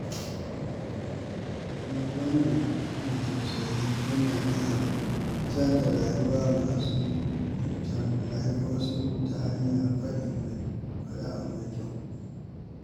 Duk wanda ke da tausayi yana iya canza rayuwar wasu ta hanyar faɗin abu mai daɗi.